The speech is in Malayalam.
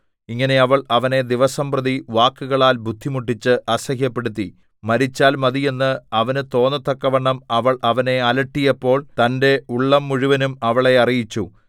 ഇങ്ങനെ അവൾ അവനെ ദിവസംപ്രതി വാക്കുകളാൽ ബുദ്ധിമുട്ടിച്ച് അസഹ്യപ്പെടുത്തി മരിച്ചാൽ മതി എന്ന് അവന് തോന്നത്തക്കവണ്ണം അവൾ അവനെ അലട്ടിയപ്പോൾ തന്റെ ഉള്ളം മുഴുവനും അവളെ അറിയിച്ചു